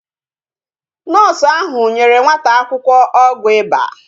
Noosu ahụ nyere nwata akwụkwọ ọgwụ ịba